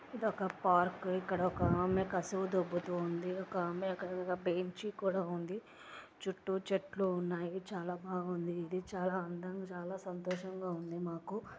ఇదొక పార్క్ . ఇక్కడ ఒక ఆమె కసవ దొబ్బుతుంది. ఒక ఆమె అక్కడ ఒక బెంచి కూడా ఉంది. చుట్టూ చెట్లు ఉన్నాయి. చాలా బాగుంది ఇది. చాలా అందంగా చాలా సంతోషంగా ఉంది మాకు.